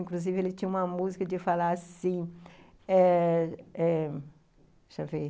Inclusive, ele tinha uma música de falar assim eh eh, deixa eu ver,